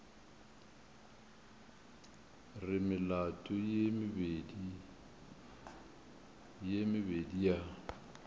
re melato ye mebedi ya